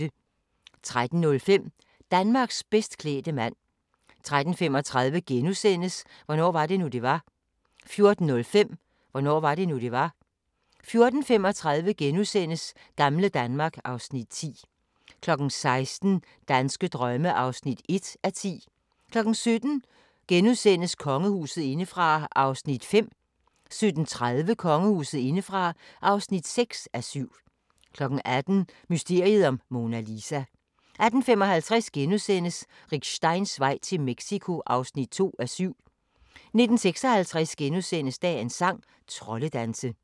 13:05: Danmarks bedst klædte mand 13:35: Hvornår var det nu, det var? * 14:05: Hvornår var det nu, det var? 14:35: Gamle Danmark (Afs. 10)* 16:00: Danske drømme (1:10) 17:00: Kongehuset indefra (5:7)* 17:30: Kongehuset indefra (6:7) 18:00: Mysteriet om Mona Lisa 18:55: Rick Steins vej til Mexico (2:7)* 19:56: Dagens sang: Troldedanse *